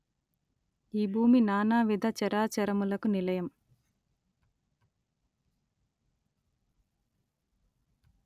ఈ భూమి నానావిధ చరాచరములకు నిలయం